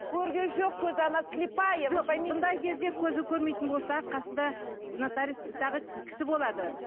көрген жоқ көзі она слипая бұндай кезде көрмейтін болса қасында нотариус тағы кісі болады